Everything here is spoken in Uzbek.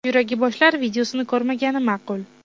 Yuragi bo‘shlar videosini ko‘rmagani ma’qul).